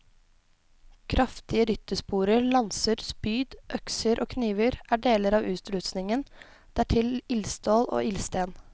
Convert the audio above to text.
Kraftige ryttersporer, lanser, spyd, økser og kniver er deler av utrustningen, dertil ildstål og ildsten.